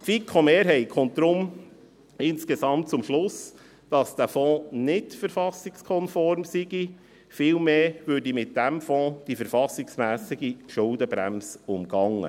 Die FiKo-Mehrheit kommt deshalb insgesamt zum Schluss, dass der Fonds verfassungskonform sei, vielmehr würde mit diesem Fonds die verfassungsmässige Schuldenbremse umgangen.